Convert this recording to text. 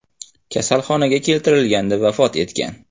kasalxonaga keltirilganida vafot etgan.